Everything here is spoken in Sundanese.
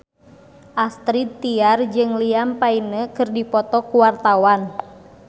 Astrid Tiar jeung Liam Payne keur dipoto ku wartawan